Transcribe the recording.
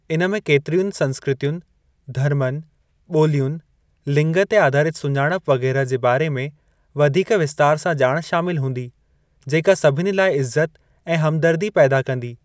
इन में केतिरियुनि संस्कृतियुनि, धर्मनि, ॿोलियुनि, लिंग ते आधारित सुञाणप वगै़रह जे बारे में वधीक विस्तार सां ॼाण शामिल हूंदी, जेका सभिनी लाइ इज़त ऐं हमदर्दी पैदा कंदी।